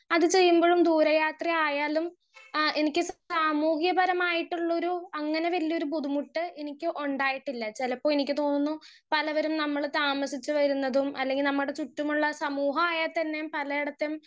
speaker 1 അത് ചെയ്യുമ്പഴും ദൂരെ യാത്രയായാലും ആ എനിക്ക് സാമൂഹ്യപരമായിട്ടുള്ളൊരു അങ്ങനെ വല്യൊരു ബുദ്ധിമുട്ട് എനിക്ക് ഉണ്ടായിട്ടില്ല ചെലപ്പോ എനിക്ക് തോന്നുന്നു പലവരും നമ്മൾ താമസിച്ച് വരുന്നതും അല്ലെങ്കി നമ്മടെ ചുറ്റുമുള്ള സമൂഹായ തന്നെ പലയെടത്തും